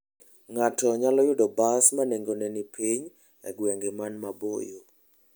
Ng'ato nyalo yudo bas ma nengone ni piny e gwenge man maboyo.